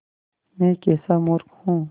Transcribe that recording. मैं कैसा मूर्ख हूँ